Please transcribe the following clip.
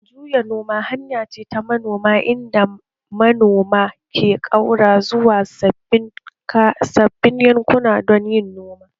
Juya noma hanya ce ta noma inda manoma ke ƙaura zuwa sabbin yankuna don yin noma